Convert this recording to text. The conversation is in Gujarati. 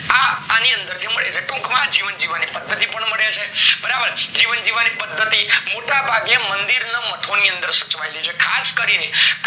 આની અંદર થી મળી રહે, ટુંક માં જીવન જીવવાની પદ્ધતિ પણ મળે છે. બરાબર, જીવન જીવવાની પદ્ધતિ મોટા ભાગે મંદિરના મઠોની અંદર સચવાયેલી છે. ખાસ કરી ને કઈ લેન્ગવેજમાં?